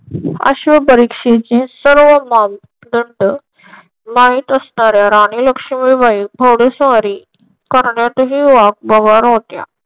अश्व परीक्षेचे सर्व मानदंड माहित असणार्‍या राणी लक्ष्मीबाई घोडेस्वारी करण्यातही वाकबगार होत्या.